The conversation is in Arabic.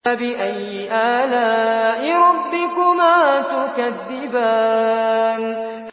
فَبِأَيِّ آلَاءِ رَبِّكُمَا تُكَذِّبَانِ